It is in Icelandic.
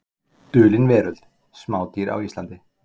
Dulin veröld: Smádýr á Íslandi.